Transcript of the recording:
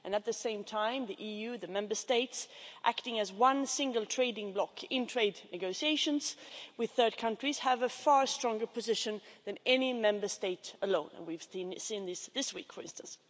And, at the same time, the EU, the Member States, acting as one single trading bloc in trade negotiations with third countries, have a far stronger position than any Member State alone as we've seen this week, for instance.